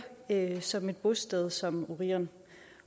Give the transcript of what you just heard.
som et bosted som orion